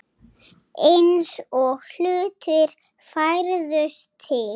Eins og hlutir færðust til.